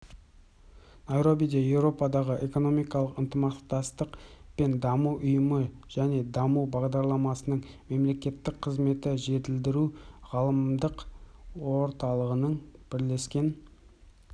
найробиде еуропадағы экономикалық ынтымақтастық пен даму ұйымы және даму бағдарламасының мемлекеттік қызметті жетілдіру ғаламдық орталығының бірлескен